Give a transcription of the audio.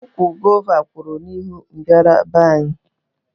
Ụkwụ gova kwú n'ihu mbara be anyị